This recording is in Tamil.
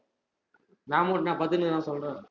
நா மட்டு என்ன பத்துட்டு இருக்கேன்னுனா சொல்றே